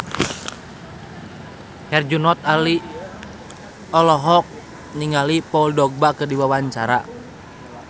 Herjunot Ali olohok ningali Paul Dogba keur diwawancara